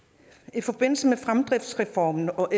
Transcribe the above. i forbindelse med fremdriftsreformen og